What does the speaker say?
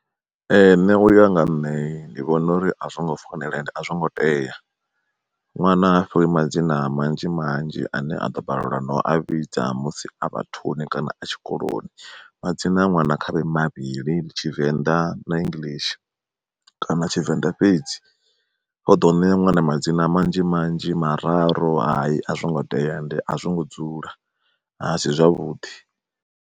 Ee nṋe uya nga nṋe ndi vhona uri a zwo ngo fanela ende a zwo ngo tea, ṅwana a fhiwe madzina manzhi manzhi ane a ḓo balelwa no a vhidza musi a vhathu ni kana a tshikoloni. Madzina a ṅwana khavhe mavhili tshivenḓa na English kana tshivenḓa fhedzi zwoḓo u ṋea ṅwana madzina manzhi manzhi mararu hai a zwo ngo tea, ende a zwo ngo dzula asi zwavhuḓi.